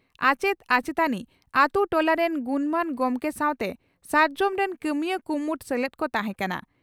ᱟᱪᱮᱛ ᱟᱪᱮᱛᱟᱱᱤ ᱟᱹᱛᱩ ᱴᱚᱞᱟ ᱨᱤᱱ ᱜᱩᱱᱢᱟᱱ ᱜᱚᱢᱠᱮ ᱥᱟᱣᱛᱮ 'ᱥᱟᱨᱡᱚᱢ' ᱨᱤᱱ ᱠᱟᱹᱢᱤᱭᱟᱹ ᱠᱩᱢᱩᱴ ᱥᱮᱞᱮᱫ ᱠᱚ ᱛᱟᱦᱮᱸ ᱠᱟᱱᱟ ᱾